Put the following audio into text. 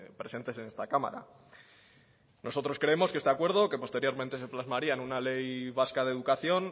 presentes en esta cámara nosotros creemos que este acuerdo que posteriormente se plasmaría en una ley vasca de educación